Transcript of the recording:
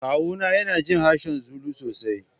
Kawuna yana jin harshen Zulu sosai.